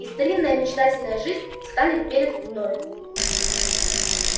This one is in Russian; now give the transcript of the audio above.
и старинная мечтательная жизнь встанет перед тобою